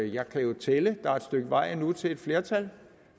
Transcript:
jeg kan jo tælle der er et stykke vej endnu til et flertal